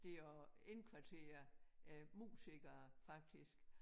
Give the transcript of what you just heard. Det at indkvartere æ musikere faktisk